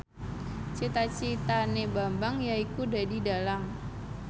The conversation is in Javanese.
cita citane Bambang yaiku dadi dhalang